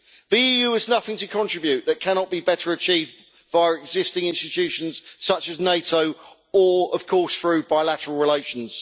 The EU has nothing to contribute that cannot be better achieved via existing institutions such as NATO, or of course through bilateral relations.